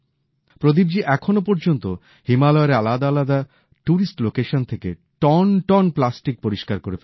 প্রদীপজি এখনো পর্যন্ত হিমালয়ের আলাদা আলাদা টুরিস্ট লোকেশন থেকে টনটন প্লাস্টিক পরিষ্কার করে ফেলেছেন